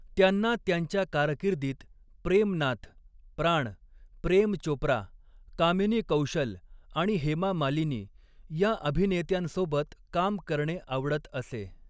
त्यांना त्यांच्या कारकिर्दीत प्रेम नाथ, प्राण, प्रेम चोप्रा, कामिनी कौशल आणि हेमा मालिनी या अभिनेत्यांसोबत काम करणे आवडत असे.